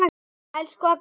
Elsku Agga frænka.